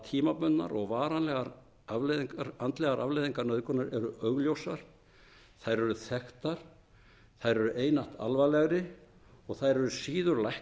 tímabundnar og varanlegar andlegar afleiðingar nauðgunar eru augljósar þær eru þekktar þær eru einatt alvarlegri og þær eru síður